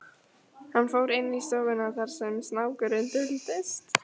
Hann fór inn í stofuna þar sem snákurinn duldist.